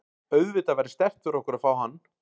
Auðvitað væri sterkt fyrir okkur að fá hann.